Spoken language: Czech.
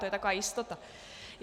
To je taková jistota.